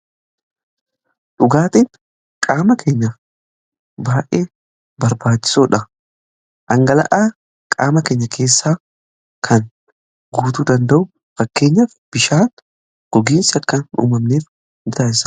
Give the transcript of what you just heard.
Dhugaatin qaama keenyaf baay'ee barbaachisoodha. Dhangala'aa qaama keenya keessaa kan guutuu danda'u fakkeenyaf bishaan gogiinsi akka hin uummamneef ni taassisa.